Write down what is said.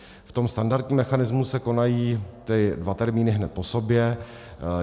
V tom standardním mechanismu se konají ty dva termíny hned po sobě.